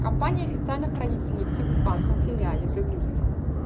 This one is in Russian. компания официально хранит слитки в испанском филиале дегусса